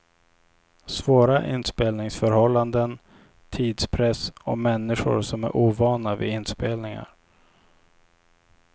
Svåra inspelningsförhållanden, tidspress och människor som är ovana vid inspelningar.